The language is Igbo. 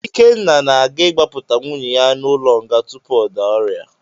Ikenna na-aga ịgbapụta nwanne ya n’ụlọ nga tupu ọ daa ọrịa.